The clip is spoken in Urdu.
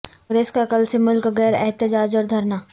کانگریس کا کل سے ملک گیر احتجاج اور دھرنا